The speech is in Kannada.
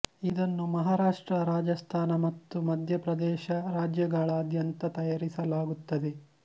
ಇದನ್ನು ಮಹಾರಾಷ್ಟ್ರ ರಾಜಸ್ಥಾನ ಮತ್ತು ಮಧ್ಯ ಪ್ರದೇಶ ರಾಜ್ಯಗಳಾದ್ಯಂತ ತಯಾರಿಸಲಾಗುತ್ತದೆ